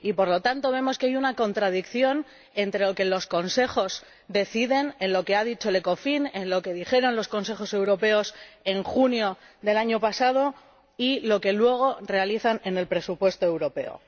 Y, por lo tanto, vemos que hay una contradicción entre lo que los Consejos deciden —en lo que ha dicho el Ecofin, en lo que dijeron los Consejos Europeos en junio del año pasado— y lo que luego realizan en el presupuesto europeo.